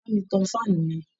Bá mi tan fan yẹn!